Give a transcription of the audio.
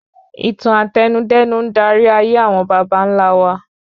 Ìtàn Àtẹnudẹ́nu ń darí ayé àwọn bàbàńlá wa